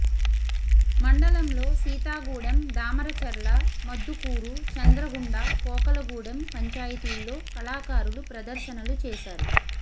మండలంలో సీతాగూడెం దామరచర్ల మద్దుకూరు చంద్రగుండా పోకలగూడెం పంచాయతీల్లో కళాకారులు ప్రదర్శనలు చేశారు